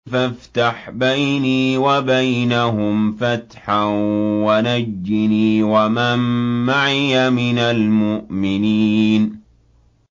فَافْتَحْ بَيْنِي وَبَيْنَهُمْ فَتْحًا وَنَجِّنِي وَمَن مَّعِيَ مِنَ الْمُؤْمِنِينَ